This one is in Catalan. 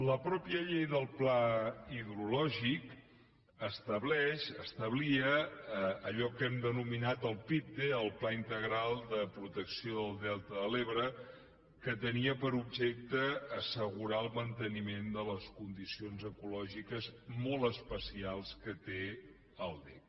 la mateixa llei del pla hidrològic estableix establia allò que hem denominat el pipde el pla integral de protecció del delta de l’ebre que tenia per objecte assegurar el manteniment de les condicions ecològiques molt especials que té l’ebre